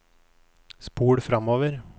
spol framover